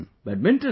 Badminton